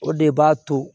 O de b'a to